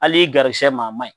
Hal'i garisigɛ ma, a man ɲi.